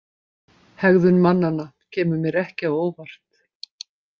Hegðun mannanna kemur mér ekki á óvart.